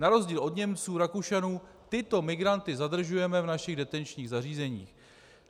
Na rozdíl od Němců, Rakušanů tyto migranty zadržujeme v našich detenčních zařízeních.